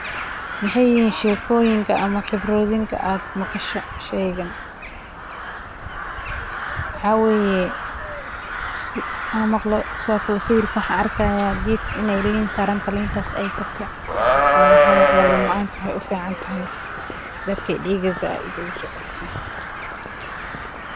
Maxay yihiin sheekooyinka ama khibradaha aad a maqasho shaygan, waxaa weyee an maaqlo, sithokale sawirka waxan arki hayaa geedkaa in ee liin sarantaha, liintas ee kartee, waayo waxaa maaqlee liin macantu waxee ufiicanyahay daadka diiga said ogu soocelisaa.